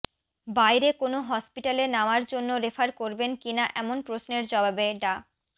বাইরে কোনো হসপিটালে নেওয়ার জন্য রেফার করবেন কিনা এমন প্রশ্নের জবাবে ডা